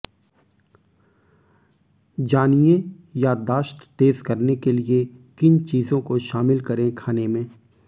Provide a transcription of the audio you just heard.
जानिए याददाश्त तेज करने के लिए किन चीजों को शामिल करें खाने में